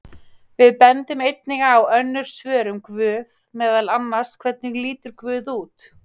Við bendum einnig á önnur svör um guð, meðal annars: Hvernig lítur guð út?